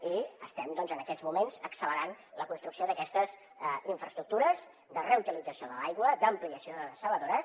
i estem doncs en aquests moments accelerant la construcció d’aquestes infraestructures de reutilització de l’aigua d’ampliació de dessaladores